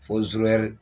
Fo